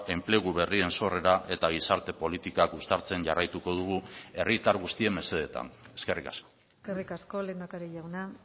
enplegu berrien sorrera eta gizarte politikak uztartzen jarraituko dugu herritar guztien mesedetan eskerrik asko eskerrik asko lehendakari jauna